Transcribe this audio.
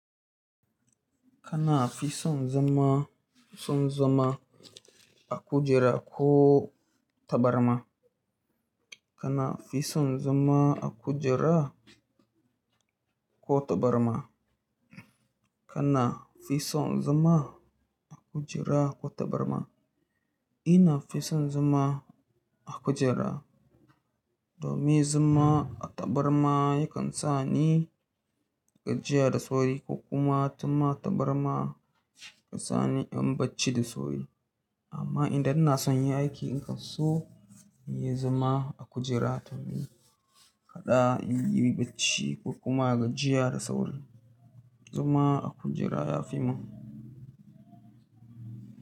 Kana fi son zama son zama a kujera ko tabarma? Kana fi son zama a kujera ko tabarma? Kana fi son zama a kujera ko tabarma? Ina fi son zama a kujera domin zama a tabarma yakan sa ni gajiya da sauri ko kuma tun ma tabarma ya sa ni in bacci da sauri. Amma idan na sanya aiki in kan so in yi zama a kujera domin kada in yi bacci ko kuma gajiya da sauri. Zama a kujera ya fi mun.